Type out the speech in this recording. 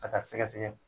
Ka taa sɛgɛsɛgɛ